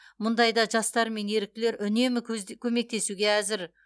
мұндайда жастар мен еріктілер үнемі көмектесуге әзір